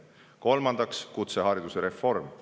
Kolmandaks, kutsehariduse reform.